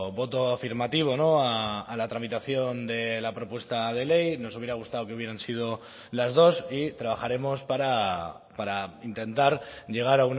voto afirmativo a la tramitación de la propuesta de ley nos hubiera gustado que hubieran sido las dos y trabajaremos para intentar llegar